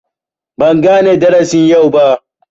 Ban gane darasin yau ba.